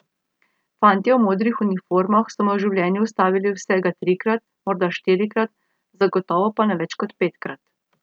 Fantje v modrih uniformah so me v življenju ustavili vsega trikrat, morda štirikrat, zagotovo pa ne več kot petkrat.